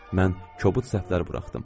Mən kobud səhvlər buraxdım.